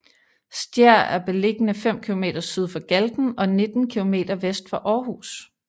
Stjær er beliggende fem kilometer syd for Galten og 19 kilometer vest for Aarhus